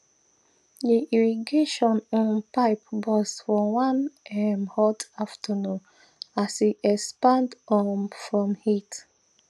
the irrigation um pipe burst for one um hot afternoon as e expand um from heat